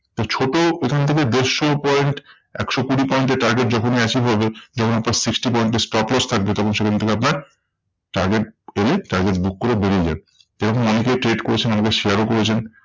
ছোট এখন থেকে দেড়শো point একশো কুড়ি point এ target যখনি achieve হবে যখন আপনার sixty point এর stop loss থাকবে, তখন সেখান থেকে আপনার target এলে target book করে বেরিয়ে যান। এরকম অনেকে trade করেছেন আমাকে share ও করেছেন।